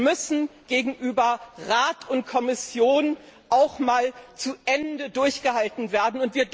müssen gegenüber Rat und Kommission auch einmal bis zum Ende durchgehalten werden.